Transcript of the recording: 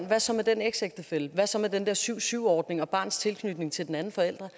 hvad så med den eksægtefælle og hvad så med den der syv syv ordning og barnets tilknytning til den ene forælder